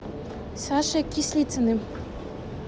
сашей кислицыным